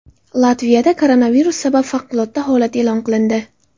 Latviyada koronavirus sabab favqulodda holat e’lon qilindi.